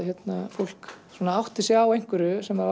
fólk átti sig á einhverju sem